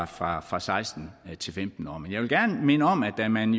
fra fra seksten til femten år men jeg vil gerne minde om at da man